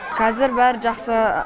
қазір бәрі жақсы